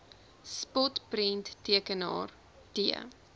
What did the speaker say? spot prenttekenaar t